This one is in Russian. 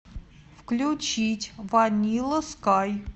включить ванилла скай